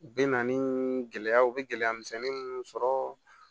Bɛ na ni gɛlɛyaw u bɛ gɛlɛya misɛnnin minnu sɔrɔ